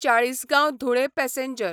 Chalisgaon Dhule passenger